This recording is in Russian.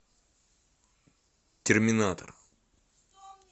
терминатор